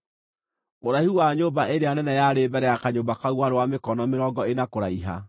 Ũraihu wa nyũmba ĩrĩa nene yarĩ mbere ya kanyũmba kau warĩ wa mĩkono mĩrongo ĩna kũraiha.